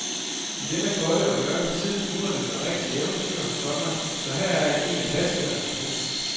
I denne kolde og mørke tid luner det med et rigtigt eventyr, komma så her er en af klassikerne. punktum